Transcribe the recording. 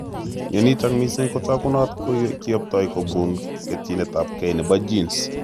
Mionitok mising kotokunot kiyoptoi kobun ketchinetabge nebo genes